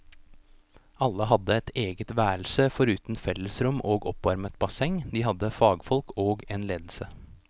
Alle hadde eget værelse foruten fellesrom og oppvarmet basseng, de hadde fagfolk og en ledelse.